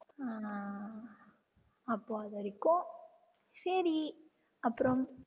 ஆஹ் அப்போ அது வரைக்கும் சரி அப்புறம்